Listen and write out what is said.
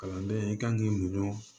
Kalanden i kan k'i muɲu